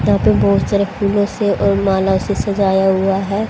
यहां पे बहोत सारे फूलों से और माला से सजाया हुआ है।